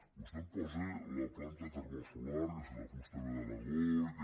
vostè em posa la planta termosolar que si la fusta ve d’aragó i que